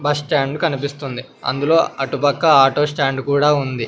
Bus stand కనిపిస్తోంది అందులో అటుపక్క ఆటో స్టాండ్ కూడా ఉంది.